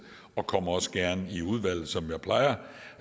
og kommer også gerne i udvalget som jeg plejer